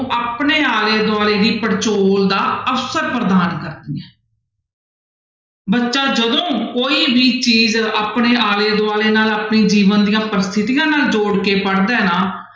ਆਪਣੇ ਆਲੇ ਦੁਆਲੇ ਦੀ ਪੜਚੋਲ ਦਾ ਅਵਸਰ ਪ੍ਰਦਾਨ ਕਰਦੀਆਂ ਹੈ ਬੱਚਾ ਜਦੋਂ ਕੋਈ ਵੀ ਚੀਜ਼ ਆਪਣੇ ਆਲੇ ਦੁਆਲੇ ਨਾਲ ਆਪਣੇ ਜੀਵਨ ਦੀਆਂ ਪ੍ਰਸਥਿਤੀਆਂ ਨਾਲ ਜੋੜ ਕੇ ਪੜ੍ਹਦਾ ਹੈ ਨਾ।